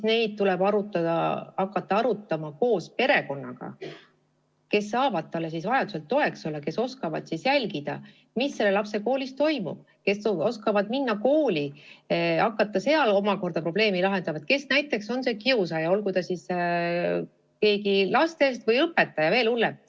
Neid tuleb hakata arutama koos pereliikmetega, kes saavad lapsele vajaduse korral toeks olla, kes oskavad jälgida, mis lapsel koolis toimub, kes oskavad minna kooli ja hakata seal omakorda probleemi lahendama, kes on see kiusaja, olgu ta siis keegi lastest või, veel hullem, õpetaja.